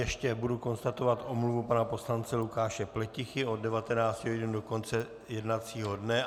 Ještě budu konstatovat omluvu pana poslance Lukáše Pletichy od 19 hodin do konce jednacího dne.